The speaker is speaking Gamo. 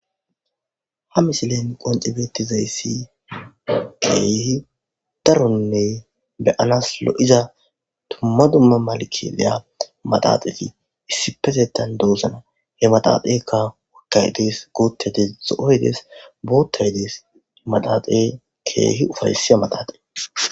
Ha misilen qoncebeetizayssi keehi daronne beyanas lo'iza tumma dumma malikedeya madaaxeti issi pesettan doozna he maxaaxekka wokkay dees goottede so'oydes boottay dees madaaxe keehi ufaysi madaaqe.